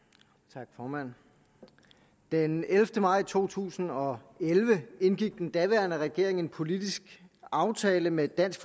tak formand den ellevte maj to tusind og elleve indgik den daværende regering en politisk aftale med dansk